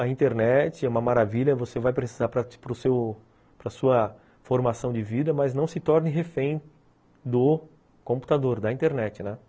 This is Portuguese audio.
A internet é uma maravilha, você vai precisar para a sua formação de vida, mas não se torne refém do computador, da internet, né.